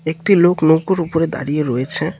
একটি লোক নৌকোর উপরে দাঁড়িয়ে রয়েছে।